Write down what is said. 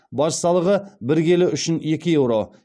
баж салығы бір келі үшін екі еуро